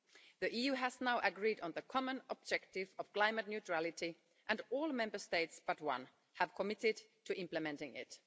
The EU has now agreed on the common objective of climate neutrality and all the Member States but one have committed to implementing it.